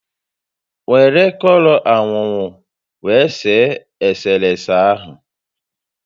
Were kọlọ ańuńuu ańuńuu were see eserese ahụ